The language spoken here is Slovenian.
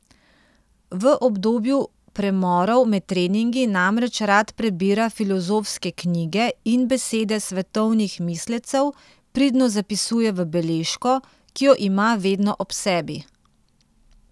V obdobju premorov med treningi namreč rad prebira filozofske knjige in besede svetovnih mislecev pridno zapisuje v beležko, ki jo ima vedno ob sebi.